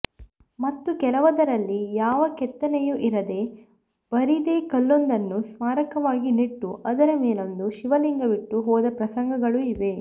ಮತ್ತೂ ಕೆಲವದರಲ್ಲಿ ಯಾವ ಕೆತ್ತನೆಯೂ ಇರದೆ ಬರಿದೇ ಕಲ್ಲೊಂದನ್ನು ಸ್ಮಾರಕವಾಗಿ ನೆಟ್ಟು ಅದರ ಮೇಲೊಂದು ಶಿವಲಿಂಗವಿಟ್ಟು ಹೋದ ಪ್ರಸಂಗಗಳು ಇವೆ